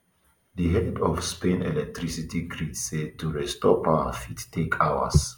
di head of spain electricity grid say to restore power fit take hours